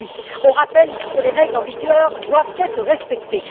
Ensuite, nous rappelons que les règles en vigueur doivent être respectées.